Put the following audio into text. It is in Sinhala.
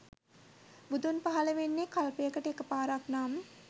බුදුන් පහල වෙන්නේ කල්පයකට එක පාරක් නම්